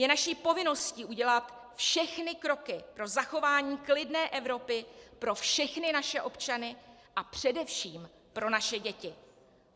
Je naší povinností udělat všechny kroky pro zachování klidné Evropy pro všechny naše občany a především pro naše děti.